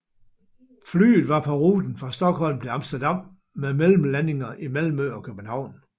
Flyet var på ruten fra Stockholm til Amsterdam med mellemlandinger i Malmø og København